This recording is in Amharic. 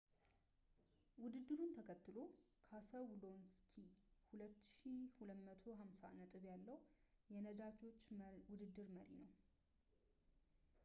ውድድሩን ተከትሎ ፣ ካሰሎውስኪ 2,250 ነጥብ ያለው የነጂዎች ውድድር መሪ ነው